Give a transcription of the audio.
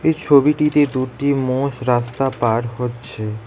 এই ছবিটিতে দুটি মোষ রাস্তা পার হচ্ছে।